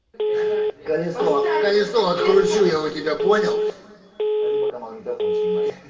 колесо колесо откручу я у тебя понял а ты пока магнитофон снимай